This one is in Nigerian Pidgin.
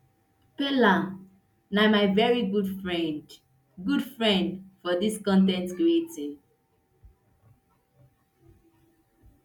peller na my veri good friend good friend for dis con ten t creating